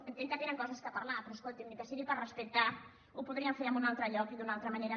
entenc que tenen coses a parlar però escolti’m ni que sigui per respecte ho podrien fer en un altre lloc i d’una altra manera